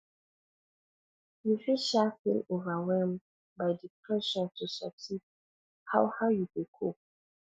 you fit um feel overwhelmed by di pressure to succeed how how you dey cope